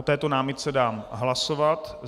O této námitce dám hlasovat.